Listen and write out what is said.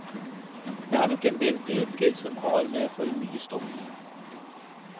Det er nok endel bøker som har med for mye stoff.